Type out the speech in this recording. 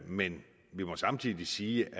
men vi må samtidig sige